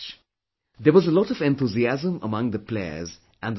There was a lot of enthusiasm among the players and the spectators